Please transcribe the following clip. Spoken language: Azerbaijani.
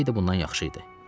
Söysəydi bundan yaxşı idi.